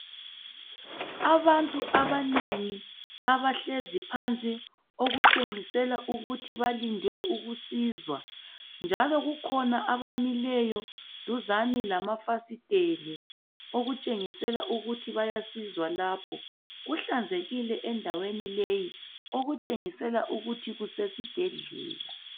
Abantu abanengi abahlezi phansi okutshengisela ukuthi balinde ukusizwa, njalo kukhona abamileyo duzane lamafasiteli okutshengisela ukuthi bayasizwa lapho. Kuhlanzekile endaweni leyi okutshengisela ukuthi kusesibhedlela.